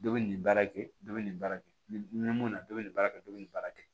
Dɔ bɛ nin baara kɛ dɔ bɛ nin baara kɛ ni mun na dɔ bɛ nin baara kɛ dɔ bɛ nin baara kɛ